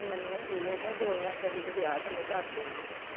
ਹੁਣ ਮੈਨੂੰ ਕਹੀ ਜਾਂਦਾ ਕਿ ਦੋ ਹਜਾਰ ਚੋਵੀ ਚ ਵਿਆਹ ਥੱਲੇ ਧਰ ਦੇਣਾ।